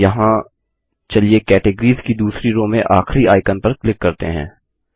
यहाँ चलिए कैटगॉरीज़ की दूसरी रो में आखरी आइकॉन पर क्लिक करते हैं